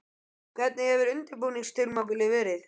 Hvernig hefur undirbúningstímabilið verið?